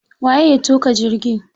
Waye ya tuƙa jirgi?